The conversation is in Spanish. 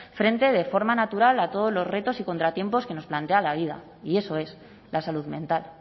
frente de forma natural a todos los retos y contratiempos que nos plantea la vida y eso es la salud mental